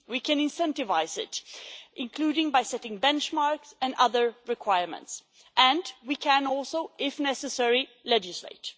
We can incentivise it, including by setting benchmarks and other requirements, and we can also, if necessary, legislate.